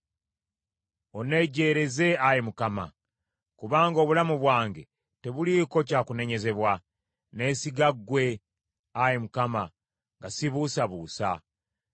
Onnejjeereze, Ayi Mukama , kubanga obulamu bwange tebuliiko kya kunenyezebwa; nneesiga ggwe, Ayi Mukama , nga sibuusabuusa.